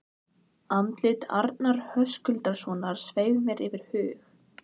Andlit Arnar Höskuldssonar sveif mér fyrir hug